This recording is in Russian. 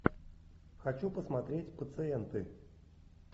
хочу посмотреть пациенты